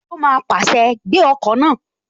Ó má pàṣẹ, "Gbé ọkọ̀ náà!"